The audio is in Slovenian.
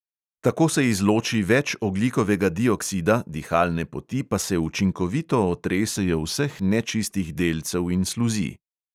Tako se izloči več ogljikovega dioksida, dihalne poti pa se učinkovito otresejo vseh nečistih delcev in sluzi.